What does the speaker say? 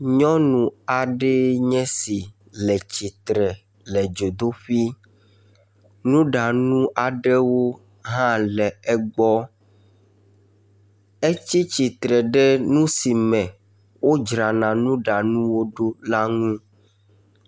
Nyɔnu aɖee nye si le tsitre le dzodoƒi. Nuɖanu aɖewo hã le egbɔ. Etsi tsitre ɖe nu si me wodzrana nuɖanuwo ɖo la nu.